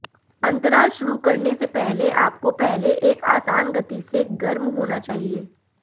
अंतराल शुरू करने से पहले आपको पहले एक आसान गति से गर्म होना चाहिए